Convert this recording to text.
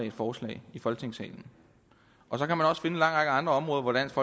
et forslag i folketingssalen og så kan man også finde en lang række andre områder hvor dansk